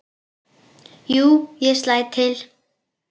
Jú, ég slæ til